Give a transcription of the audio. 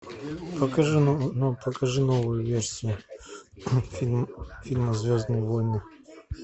покажи новую версию фильма звездные войны